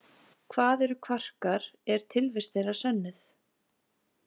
Hvað eru kvarkar, er tilvist þeirra sönnuð?